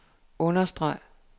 understreg